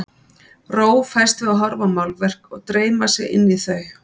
Ró fæst við að horfa á málverk og dreyma sig inn í þau.